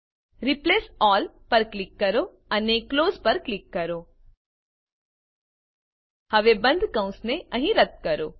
replace all પર click કરો અને ક્લોઝ પર ક્લિક કરો હવે બંધ કૌંસને અહીં રદ્દ કરો